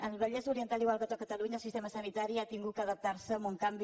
al vallès oriental igual que a tot catalunya el sistema sanitari ha hagut d’adaptar se a un canvi